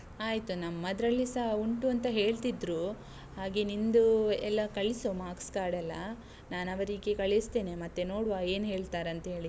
ಆಯ್ತು, ನಮ್ಮದ್ರಲ್ಲಿಸಾ ಉಂಟು ಅಂತ ಹೇಳ್ತಿದ್ರೂ. ಹಾಗೆ ನಿಂದೂ, ಎಲ್ಲ ಕಳಿಸು, marks card ಎಲ್ಲ, ನಾನವರಿಗೆ ಕಳಿಸ್ತೇನೆ, ಮತ್ತೆ ನೋಡುವ ಏನ್ ಹೇಳ್ತಾರಂತ ಹೇಳಿ.